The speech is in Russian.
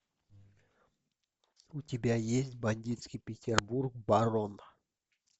у тебя есть бандитский петербург барон